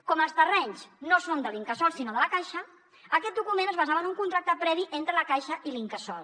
com que els terrenys no són de l’incasòl sinó de la caixa aquest document es basava en un contracte previ entre la caixa i l’incasòl